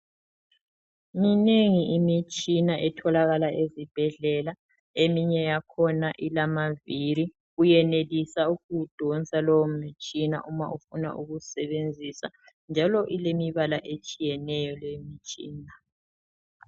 Minengi imitshina etholakala ezibhedlela. Eminye yakhona ilamaviri. Uyenelisa ukuwudonsa lowo mtshina uma ufuna ukuwusebenzisa, njalo ilemibala etshiyeneyo le mitshina.